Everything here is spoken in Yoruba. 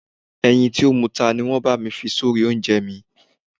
Ẹyin tí ó muta ni wọ́n bá mi fi sórí oúnjẹ mi.